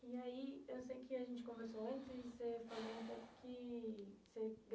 E aí, eu sei que a gente conversou antes e você falou um pouco que você